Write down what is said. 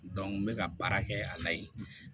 n bɛ ka baara kɛ a la yen